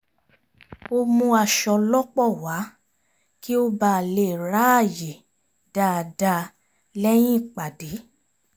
ó mú aṣọ lọ́pọ̀ wá kí ó bà lè ráàyè dáadáa lẹ́yìn ìpàdé